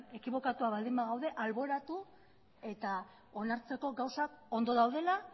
ekibokatuak baldin bagaude alboratu eta onartzeko gauzak ondo daudela